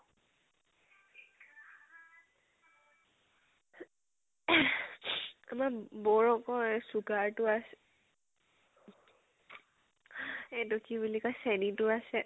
আমাৰ ম বৌৰ আকৈ sugar টো আছে। এইটো কি বুলি কয় চেনীটো আছে